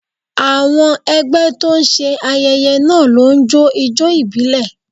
Àwọn ẹgbẹ́ tó ń ṣe ayẹyẹ náà ló ń jó ijó ìbílẹ̀